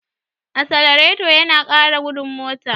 Asalareto yana ƙara gudun mota.